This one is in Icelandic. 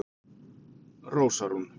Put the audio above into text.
Rósa Rún